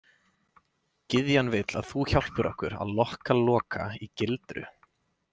Gyðjan vill að þú hjálpir okkur að lokka Loka í gildru.